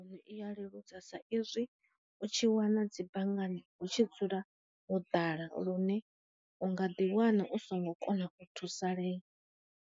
U ri iya leludza sa i zwi u tshi wana dzi banngani hu tshi dzula ho ḓala lune unga ḓi wana u songo kona u thusalea.